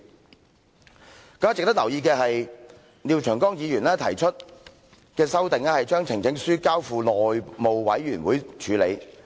更加值得留意的是，廖長江議員提出的修正案，是把呈請書交付內務委員會處理。